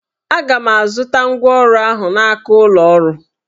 Aga m azụta ngwa ọrụ ahụ n'aka ụlọ ọrụ